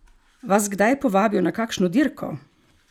Vas kdaj povabijo na kakšno dirko?